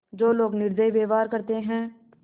जो लोग निर्दयी व्यवहार करते हैं